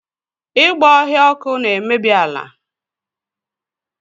Ịgba ọhịa ọkụ na-emebi ala